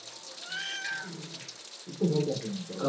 એતો ઘેર cutting કર સ